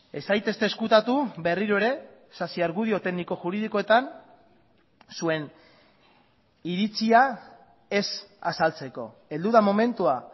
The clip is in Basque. ez zaitezte ezkutatu berriro ere sasi argudio tekniko juridikoetan zuen iritzia ez azaltzeko heldu da momentua